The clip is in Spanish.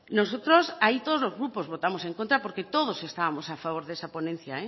nosotros ahí todos los grupos votamos en contra porque todos estábamos a favor de esa ponencia